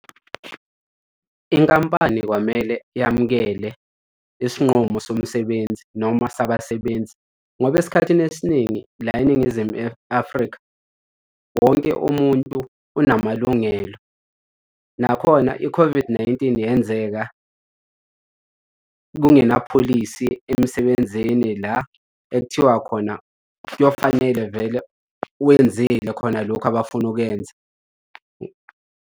Inkampani kwamele yamukele isinqumo somsebenzi noma sabasebenzi, ngoba esikhathini esiningi la eNingizimu Afrika. Wonke umuntu unamalungelo. Nakhona i-COVID-19 yenzeka kungenapholisi emsebenzini la ekuthiwa khona kuyofanele vele wenzile khona lokhu abafuna ukwenza.